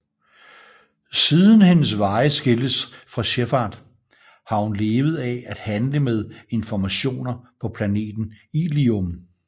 Siden hendes veje skiltes fra Shepard har hun levet af at handle med informationer på planeten Illium